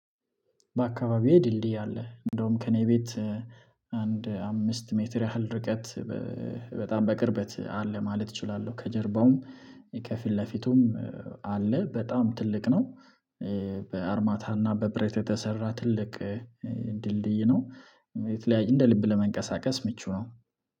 በአካባቢዬ ድልድይ አለ። እንደውም ከእኔ ቤት አንድ አምስት ሜትር ያህል ርቀት በጣም በቅርበት አለ ማለት እችላለሁ። ከጀርባውም ከፊት ለፊቱም አለ በጣም ትልቅ ነው። በአርማታና በብረት የተሰራ ትልቅ ድልድይ ነው። እንደ ልብ ለመንቀሳቀስ ምቹ ነው